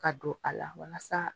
Ka don a la walasa